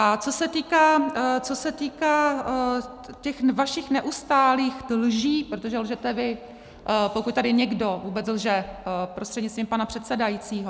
A co se týká těch vašich neustálých lží - protože lžete vy, pokud tady někdo vůbec lže prostřednictvím pana předsedajícího.